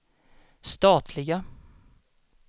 statliga